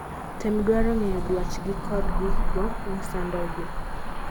tem dwaro ng'eyo dwach gi kodd gikgo masando gi